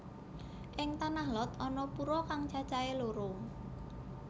Ing Tanah Lot ana pura kang cacahé loro